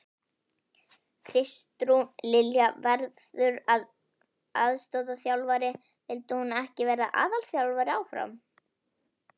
Kristrún Lilja verður aðstoðarþjálfari, vildi hún ekki vera aðalþjálfari áfram?